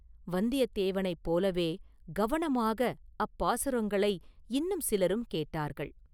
வந்தியத்தேவனைப் போலவே கவனமாக அப்பாசுரங்களை இன்னும் சிலரும் கேட்டார்கள்.